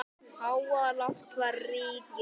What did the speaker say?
Háaloft var ríki